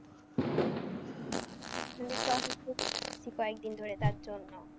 কয়েকদিন ধরে তার জন্য।